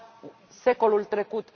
Era secolul trecut.